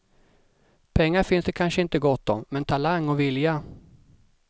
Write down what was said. Pengar finns det kanske inte gott om, men talang och vilja.